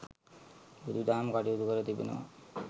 බුදු දහම කටයුතු කර තිබෙනවා.